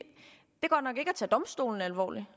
tage domstolene alvorligt